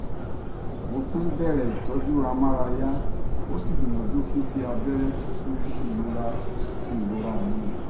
mo tún bẹrẹ ìtọjú amárayá ó sì gbìyàjú fífi abẹrẹ tu ìrora tu ìrora mi